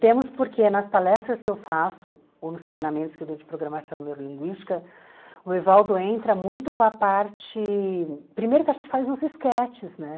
Temos porque nas palestras que eu faço, ou nos treinamentos que eu dou de programação neurolinguística, o Evaldo entra muito com a parte... Primeiro que a gente faz uns esquetes, né?